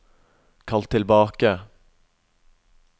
kall tilbake